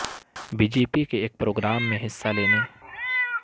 B J پی کے ایک programme میں حصہ لینے